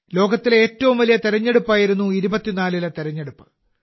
ലോകത്തിലെ ഏറ്റവും വലിയ തെരഞ്ഞെടുപ്പായിരുന്നു 24ലെ തെരഞ്ഞെടുപ്പ്